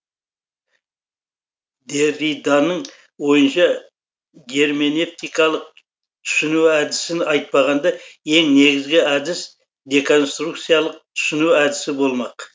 дерриданың ойынша герменевтикалық түсіну әдісін айтпағанда ең негізгі әдіс деконструкциялық түсіну әдісі болмақ